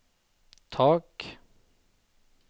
tak